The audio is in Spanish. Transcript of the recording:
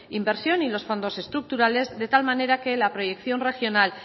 inversión y los fondos estructurales de tal manera que la proyección regional